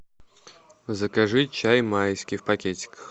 закажи чай майский в пакетиках